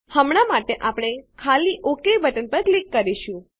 હમણાં માટે આપણે ખાલી ઓક બટન ઉપર ક્લિક કરીશું